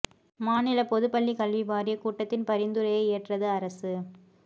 மாநில பொதுப் பள்ளி கல்வி வாரிய கூட்டத்தின் பரிந்துரையை ஏற்றது அரசு